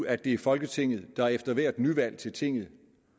at det er folketinget der efter hvert nyvalg til tinget